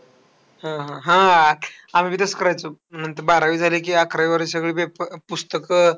हा, हा. आम्ही पण तेच करायचो. नंतर बारावी झाली की अकरावीवाल्या सगळे papers, पुस्तकं